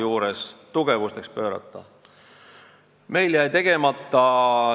Tselluloositehas jäi meil tegemata.